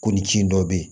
Ko ni ci in dɔ bɛ yen